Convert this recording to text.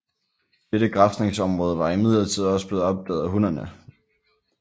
Dette græsningsområde var imidlertid også blevet opdaget af hunnerne